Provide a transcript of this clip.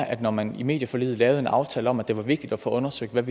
at når man i medieforliget laver en aftale om at det er vigtigt at få undersøgt hvad